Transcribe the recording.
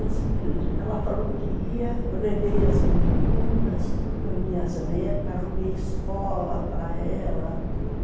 Aí ela falou que ia, eu levei as meninas, tudo, as minhas netas, arrumei escola para ela, tudo.